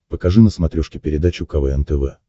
покажи на смотрешке передачу квн тв